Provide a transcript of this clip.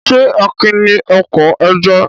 Ṣé Akin ní oko ẹja?